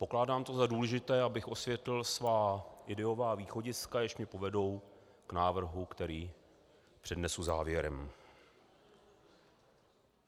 Pokládám to za důležité, abych osvětlil svá ideová východiska, jež mě povedou k návrhu, který přednesu závěrem.